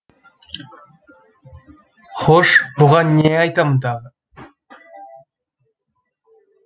хош бұған не айтамын тағы